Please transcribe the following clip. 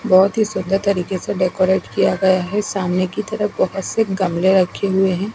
बहोत ही सुंदर तरीके से डेकोरेट किया गया है सामने की तरफ बहोत से गमले रखे हुए हैं।